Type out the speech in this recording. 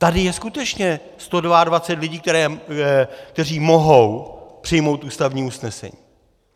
Tady je skutečně 122 lidí, kteří mohou přijmout ústavní usnesení.